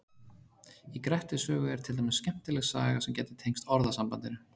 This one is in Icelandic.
Í Grettis sögu er til dæmis skemmtileg saga sem gæti tengst orðasambandinu.